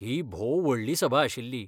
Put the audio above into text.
ही भोव व्हडली सभा आशिल्ली.